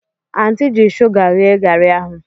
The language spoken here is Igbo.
Anti ji sugar ghee gari ahụ.